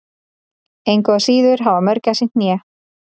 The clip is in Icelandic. engu að síður hafa mörgæsir hné